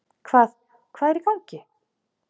Hvað, hvað er í gangi?